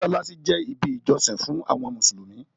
Mọ́ṣáláṣí je ibi ìjọsìn fún àwọn mùsùlùmí